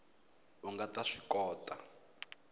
a nga ta swi kota